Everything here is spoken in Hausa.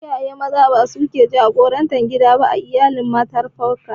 Iyaye Maza ba sune suke jagorantar gida ba a iyalin matrifokal.